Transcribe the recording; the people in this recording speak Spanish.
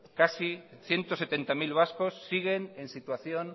casi ciento setenta mil vascos siguen en situación